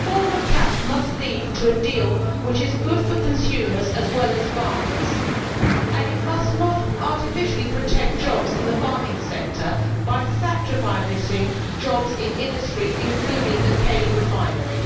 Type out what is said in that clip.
The CAP reform must lead to a deal which is good for consumers as well as farmers, and it must not artificially protect jobs in the farming sector by sacrificing jobs in industry, including in this cane refinery.